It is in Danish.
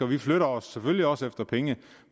vi flytter os selvfølgelig også efter penge